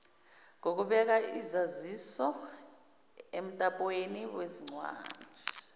ngokubeka izazisoemtapweni wezincwandi